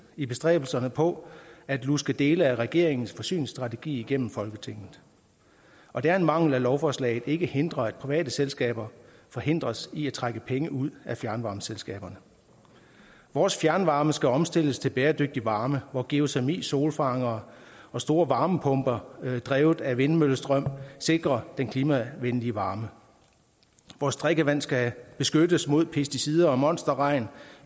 i bestræbelserne på at luske dele af regeringens forsyningsstrategi igennem folketinget og det er en mangel at lovforslaget ikke hindrer at private selskaber forhindres i at trække penge ud af fjernvarmeselskaberne vores fjernvarme skal omstilles til bæredygtig varme hvor geotermi solfangere og store varmepumper drevet af vindmøllestrøm sikrer den klimavenlige varme vores drikkevand skal beskyttes mod pesticider og monsterregn